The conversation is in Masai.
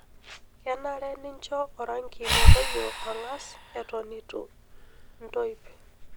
Kenare nincho orangi metoyio ang'as eton eitu intoip.